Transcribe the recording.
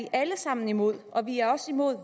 alle sammen imod og vi er også imod